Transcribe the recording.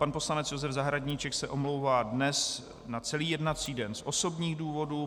Pan poslanec Josef Zahradníček se omlouvá dnes na celý jednací den z osobních důvodů.